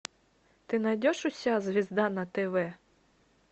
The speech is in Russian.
ты найдешь у себя звезда на тв